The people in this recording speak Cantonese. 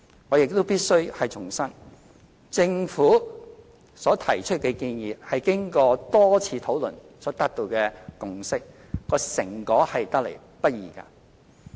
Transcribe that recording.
我亦必須重申，政府所提出的建議是經過多次討論所達到的共識，成果得來不易。